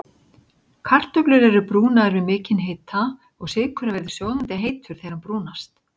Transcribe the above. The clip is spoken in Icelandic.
Kartöflur eru brúnaðar við mikinn hita og sykurinn verður sjóðandi heitur þegar hann brúnast.